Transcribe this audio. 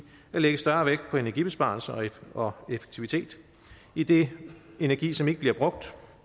at lægge større vægt på energibesparelser og effektivitet idet energi som ikke bliver brugt